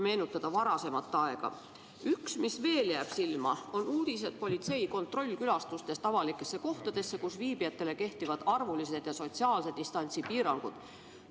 Üks, mis veel jääb silma, on uudised politsei kontrollkäikudest avalikesse kohtadesse, kus viibijatele kehtivad arvulised ja sotsiaalse distantsi piirangud.